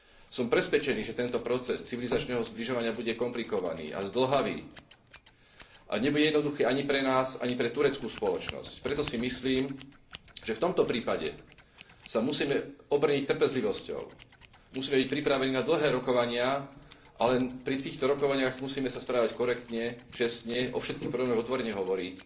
Som presvedčený, že tento proces civilizačného zbližovania bude komplikovaný a zdĺhavý a nebude jednoduchý ani pre nás, ani pre tureckú spoločnosť. Preto si myslím, že v tomto prípade sa musíme obrniť trpezlivosťou, musíme byť pripravení na dlhé rokovania, ale pri týchto rokovaniach musíme sa správať korektne, čestne, o všetkých problémoch otvorene hovoriť.